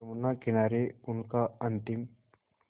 यमुना किनारे उनका अंतिम